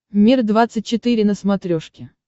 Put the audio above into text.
мир двадцать четыре на смотрешке